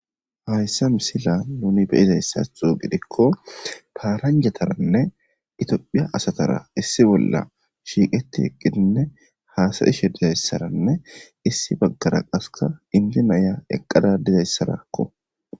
Hayssa misila nuni be7izayssadan gidikko paranjataranne itophiya asatara issi bolla shiiqeti eqqidinne haasayishe dizayssaranne issi baggara qasseka inddo na7iya eqqada dizayssarakko.